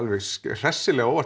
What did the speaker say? hressilega á óvart